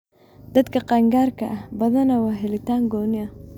Dadka qaangaarka ah, badanaa waa helitaan gooni ah.